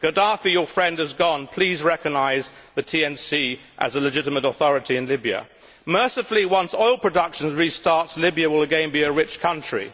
Gaddafi your friend has gone, please recognise the NTC as a legitimate authority in Libya. Mercifully, once oil production restarts Libya will again be a rich country.